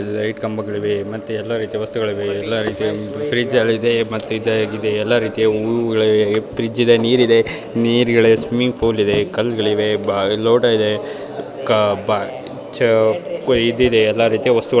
ಇಲ್ಲಿ ಲೈಟ್ ಕಂಬಗಳು ಇವೆ ಮತ್ತು ಎಲ್ಲಾ ರೀತಿಯ ವಸ್ತುಗಳು ಎಲ್ಲಾ ರೀತಿಯ ಫ್ರಿಡ್ಜ್ ಹಳೆಯದು ಮತ್ತು ಎಲ್ಲಾ ರೀತಿಯ ಇದೆ ಫ್ರಿಡ್ಜ್ ಇದೆ ನೀರಿದೆ ಸ್ವಿಮ್ಮಿಂಗ್ ಪೂಲ್ ಇದೆ ಕಲ್ಲುಗಳಿದೆ ಬಾರಿ ಇದೆ ಇದು ಇದೆ ಎಲ್ಲಾ ರೀತಿಯ ವಸ್ತುಗಳು ಇವೆ